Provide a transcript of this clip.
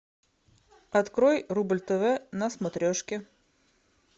открой рубль тв на смотрешке